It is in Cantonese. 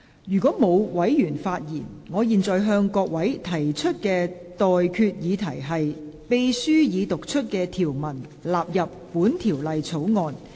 如果沒有委員想發言，我現在向各位提出的待決議題是：秘書已讀出的條文納入本條例草案。